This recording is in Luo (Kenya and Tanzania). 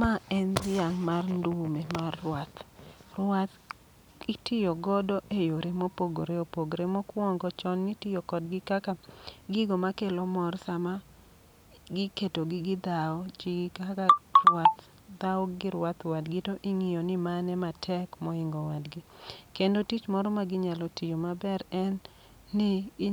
Ma en dhiang' mar ndume mar ruath. Ruath itiyogodo e yore mopogore opogore, mokwongo chon nitiyo kodgi kaka gigo ma kelo mor sama giketogi gidhawo. Gi kaka rwath dhawo gi rwath wadgi to ing'iyo ni mane ma tek moingo wadgi. Kendo tich moro ma ginyalo tiyo maber en ni